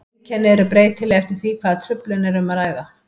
Einkenni eru breytileg eftir því hvaða truflun er um að ræða.